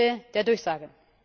Ende der Durchsage!